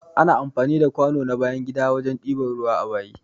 Ana amfani da kwano na bayan gida wajen ɗiba ruwa a bayi.